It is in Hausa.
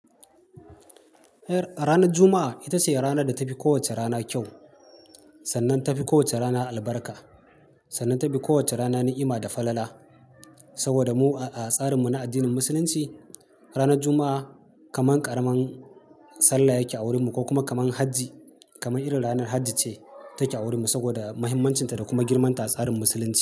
Ranar Juma'a ita ce ranar da ta fi kowace rana kyau, sannan ta fi kowace rana albarka, sannan ta fi kowace rana ni'ima da falala. Saboda mu a, a tsarinmu na addinin Musulunci, ranar Juma'a, kamar ƙaramar sallah yake a wurinmu ko kuma kamar hajji, kamar irin ranar hajji ce take a wurinmu, saboda mahimmancinta da kuma girman ta a tsarin Musulunci,